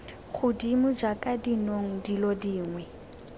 godimo jaaka dinong dilo dingwe